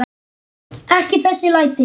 Ekki þessi læti.